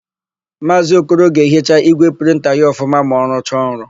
Maazị Okoro ga-ehicha ígwè prịnta ya ọfụma ma ọ rụcha ọrụ.